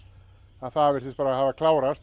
það virtist bara hafa klárast